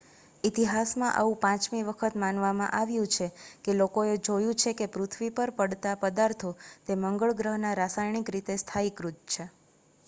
ઇતિહાસમાં આવું પાંચમી વખત માનવામાં આવ્યું છે કે લોકોએ જોયું છે કે પૃથ્વી પર પડતાં પદાર્થો તે મંગળ ગ્રહના રાસાયણિક રીતે સ્થાયીકૃત છે